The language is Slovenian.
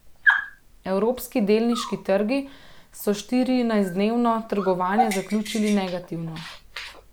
Evropski delniški trgi so štirinajstdnevno trgovanje zaključili negativno.